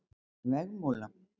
Vegmúla